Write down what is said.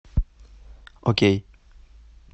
окей